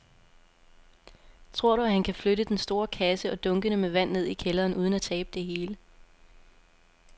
Tror du, at han kan flytte den store kasse og dunkene med vand ned i kælderen uden at tabe det hele?